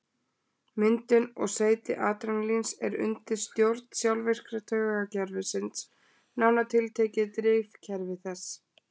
Myndun og seyti adrenalíns er undir stjórn sjálfvirka taugakerfisins, nánar tiltekið drifkerfi þess.